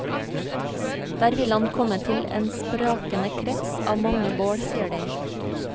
Der vil han komme til en sprakende krets av mange bål, sier de.